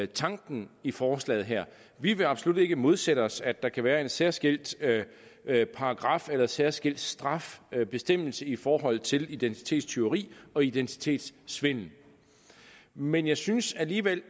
tanken i forslaget her vi vil absolut ikke modsætte os at der kan være en særskilt paragraf eller en særskilt straffebestemmelse i forhold til identitetstyveri og identitetssvindel men jeg synes alligevel